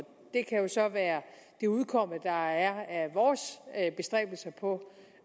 det kan jo så være det udkomme der er af vores bestræbelser på